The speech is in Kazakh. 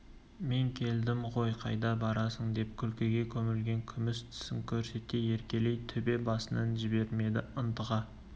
мен келдім ғой қайда барасың деп күлкіге көмілген күміс тісін көрсете еркелей төбе басынан жібермеді ынтыға